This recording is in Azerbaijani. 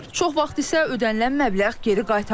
Çox vaxt isə ödənilən məbləğ geri qaytarılmır.